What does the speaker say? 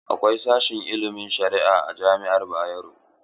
Akwai sashen ilimin sharia a jami'ar Bayero.